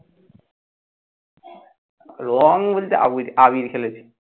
রঙ বলতে আবি আবির খেলেছি।